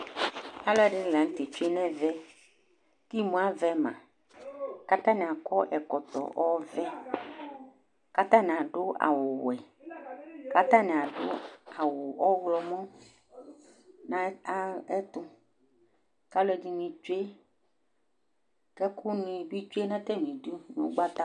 Alʊ ɛɖɩnɩ la ŋʊtɛ tsoé ŋɛʋɛ ƙɩmʊ aʋɛ ma Ƙatanɩ aƙɔ ɛƙɔtɔ ɔʋɛ, ƙatanɩ aɖʊ awʊ wɛ, ƙatani aɖu awu ɔwlɔmɔ ŋɛtʊ, ƙalʊ ɛɖinɩ tsoé, ƙɛƙʊŋi ɓɩ tsoé ŋʊ tamiɛtʊ ŋʊ ɔgɓata